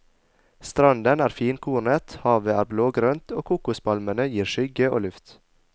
Stranden er finkornet, havet er blågrønt, og kokospalmene gir skygge og luft.